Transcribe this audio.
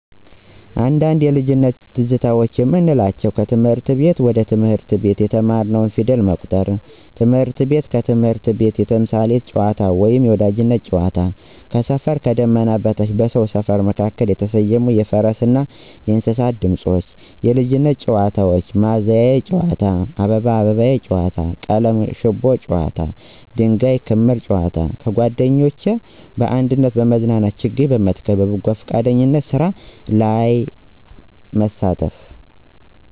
አንዳንድ የልጅነት ትዝታዎች የምንላቸው 1. ከትምህረት ቤት: በትምህርት ቤት የተማርንው ፊደልና ቁጥር። ትምህርት ቤት ከትምህርት ቤት የተምሳሌት ጨዋታ ወይም የወዳጅነት ጨዋታ። 2. ከሰፈር: ከዳመና በታች በሰው ሰፈር መካከል የተሰየሙ የፈረስ ና የእንሰሳት ድምፆች። 3. የልጅነት ጨዋታ: ማዘያ ጨዋታ አባባዬ አባባዬ ጨዋታ ቀለም ሽቦ ጨዋታ ድንጋይ ከምር ጨዋታ። 4. ጓደኞች: በአንድነት መዝናናት ችግኝ መትከል በበጎፍቃደኝነት ስራ ላይ መሳተፍ።